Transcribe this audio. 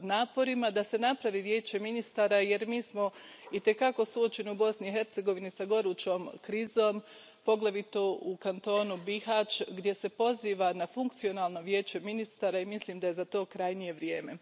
naporima da se osnuje Vijeće ministara jer mi smo itekako suočeni u Bosni i Hercegovini s gorućom krizom, poglavito u kantonu Bihać gdje se poziva na funkcionalno Vijeće ministara i mislim da je za to krajnje vrijeme.